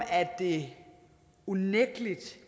det unægtelig